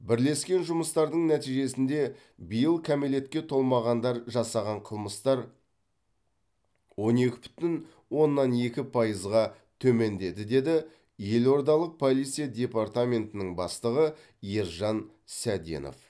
бірлескен жұмыстардың нәтижесінде биыл кәмелетке толмағандар жасаған қылмыстар он екі бүтін оннан екі пайызға төмендеді деді елордалық полиция департаментінің бастығы ержан сәденов